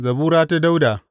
Zabura ta Dawuda.